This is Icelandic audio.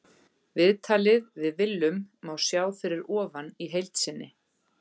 Viðtalið við Willum má sjá fyrir ofan í heild sinni.